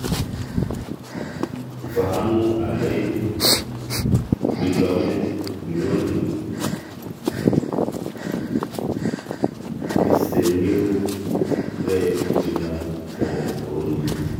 Mfahamu Alain-Guillaume Bunyoni, olarikoni kitok ngejuk le Burundi